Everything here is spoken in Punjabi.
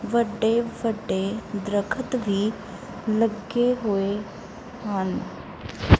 ਵੱਡੇ ਵੱਡੇ ਦਰੱਖਤ ਵੀ ਲੱਗੇ ਹੋਏ ਹਨ।